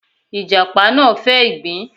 Ìjàṕ náà fẹ́ ìgbín.